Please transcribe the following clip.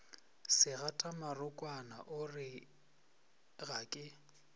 segatamorokwana o re ga ke